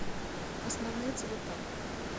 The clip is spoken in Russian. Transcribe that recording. основные цвета